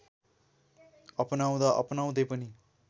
अपनाउँदा अपनाउँदै पनि